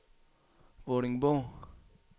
Vordingborg